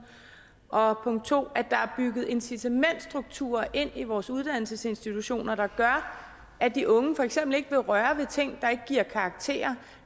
og 2 at der er bygget incitamentsstrukturer ind i vores uddannelsesinstitutioner der gør at de unge for eksempel ikke vil røre ved ting der ikke giver karakterer